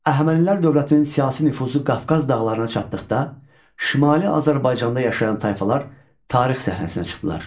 Əhəmənilər dövlətinin siyasi nüfuzu Qafqaz dağlarına çatdıqda, Şimali Azərbaycanda yaşayan tayfalar tarix səhnəsinə çıxdılar.